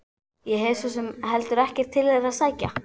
Ég hef svo sem heldur ekkert til þeirra að sækja.